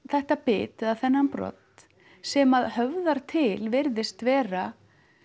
þetta bit eða þennan brodd sem að höfðar til virðist vera